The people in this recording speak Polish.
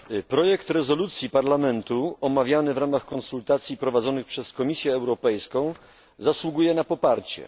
Projekt rezolucji Parlamentu, omawiany w ramach konsultacji prowadzonych przez Komisję Europejską, zasługuje na poparcie.